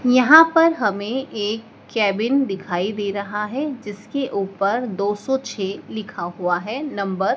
यहां पर हमें एक केबिन दिखाई दे रहा है जिसके ऊपर दो सौ छ लिखा हुआ है नंबर --